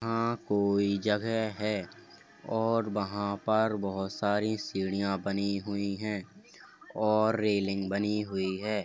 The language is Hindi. अ कोई जगह है और वहाँ पर बहोत सारी सीढ़िया बनी हुई हैं और रेलिंग बनी हुई है।